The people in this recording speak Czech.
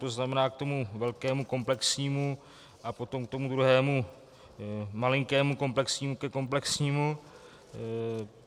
To znamená k tomu velkému komplexnímu a potom k tomu druhému, malinkému komplexnímu ke komplexnímu.